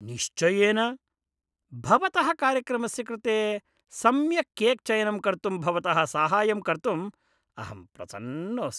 निश्चयेन! भवतः कार्यक्रमस्य कृते सम्यक् केक् चयनं कर्तुं भवतः साहाय्यं कर्तुं अहं प्रसन्नोऽस्मि।